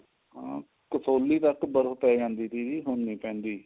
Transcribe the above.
ਹਮ ਕਸੋਲੀ ਤੱਕ ਬਰਫ਼ ਪੈ ਜਾਂਦੀ ਸੀਗੀ ਹੁਣ ਨਹੀਂ ਪੈਂਦੀ